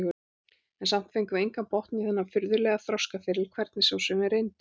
En samt fengum við engan botn í þennan furðulega þroskaferil, hvernig svo sem við reyndum.